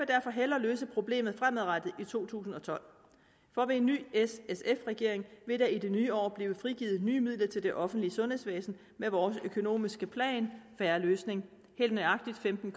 derfor hellere løse problemet fremadrettet i to tusind og tolv for ved en ny s sf regering vil der i det nye år blive frigivet nye midler til det offentlige sundhedsvæsen med vores økonomiske plan en fair løsning helt nøjagtigt femten